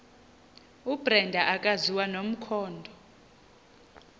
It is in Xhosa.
ubrenda akaziwa nomkhondo